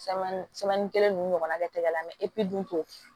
kelen ninnu ɲɔgɔnna kɛ tɛgɛ la mɛ epi dun